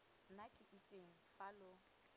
nna ke itseng fa lo